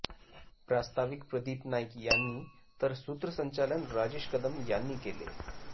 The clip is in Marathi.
प्रास्ताविक प्रदीप नाईक यांनी तर सूत्रसंचालन राजेश कदम यांनी केले